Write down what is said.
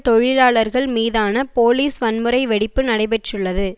தொழிலாளர்கள் மீதான போலீஸ் வன்முறை வெடிப்பு நடைபெற்றுள்ளது